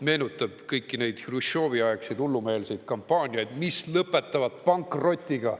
Meenutab kõiki neid Hruštšovi-aegseid hullumeelseid kampaaniaid, mis lõpetavad pankrotiga.